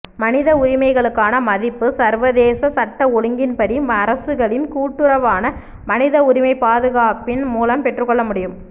மனித உரிமைகளுக்கான மதிப்பு சர்வதேசச் சட்ட ஒழுங்கின்படி அரசுகளின் கூட்டுறவான மனித உரிமைப் பாதுகாப்பின் மூலம் பெற்றுக் கொள்ள முடியும்